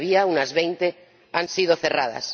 las que había ―unas veinte― han sido cerradas.